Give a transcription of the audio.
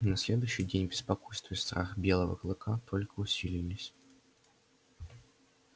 на следующий день беспокойство и страх белого клыка только усилились